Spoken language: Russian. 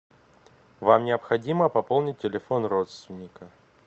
вам необходимо пополнить телефон родственника